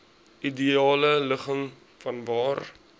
ideale ligging vanwaar